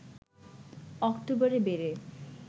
অক্টোবরে বেড়ে